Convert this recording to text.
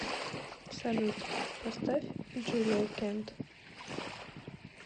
салют поставь джулия кент